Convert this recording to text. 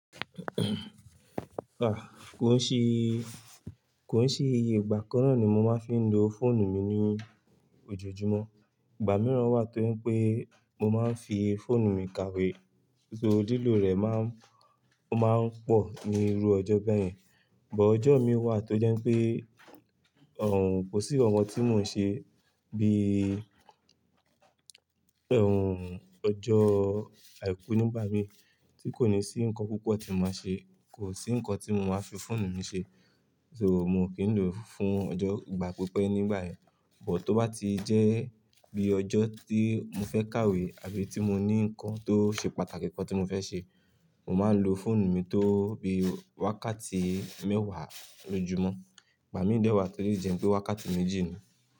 Ah, kò sí, kò sí iye ìgbà kan náà ni mo máa ń fi ń lo fóònù mi ní ojoojúmọ́. Ìgbà mìíràn wà tó jẹ́ pè mo máa ń fi fóònù mi kàwé, só lilò rẹ̀ má ń, ó má ń pọ̀ ní irú ọjọ́ bẹ́ẹ̀ yẹn. Ìgbà ọjọ́ mi wà tó jẹ́ pé òún, kò sí ǹkan kan tí mo ń ṣe bí í ọjọ́ àìkú nígbà mí tí kò ní sí nǹkan púpọ̀ tí mo máa ṣe, kò sí nǹkan tí mo máa fi fóònù mi ṣe. Só mo kí ń lò fún ọjọ́ ìgbà pípẹ́ nígbà yẹn. Bò tó bá ti jẹ́ bí ọjọ́ tí mo fẹ́ kàwé àbí tí mo ní nǹkan tó ṣe pàtàkì kan tí mo fẹ́ ṣe, mo máa ń lo fóònù mi tó bi wákàtí mẹ́wàá lójúmọ́. Ìgbà míì dẹ́ wà tó lè jẹ́ pé wákàtí méjì ni.